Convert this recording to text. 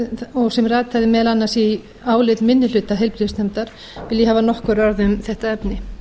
og sem rataði meðal annars í álit minni hluta heilbrigðisnefndar vil ég hafa nokkur orð um þetta efni